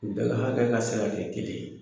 Daga hakɛ ka se ka kɛ kelen ye.